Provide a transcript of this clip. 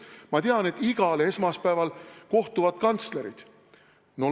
Ma tean, et igal esmaspäeval kohtuvad kantslerid.